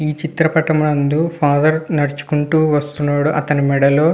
చిత్రపటం నందు ఫాదర్ నడుచుకుంటూ వస్తునాడు. అతని మేడలో --